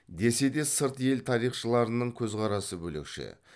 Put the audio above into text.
десе де сырт ел тарихшыларының көзқарасы бөлекше